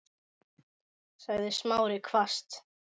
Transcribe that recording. sagði Smári hvasst.